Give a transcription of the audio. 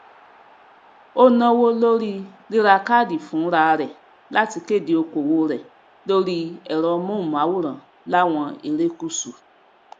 o náwó lórí ríra káádì fún ràarẹ láti kéde òkòwò rẹ lórí ẹrọmóhùnmáwòrán lawon erekusu